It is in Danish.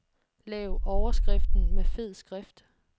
Lav overskriften med fed skrift.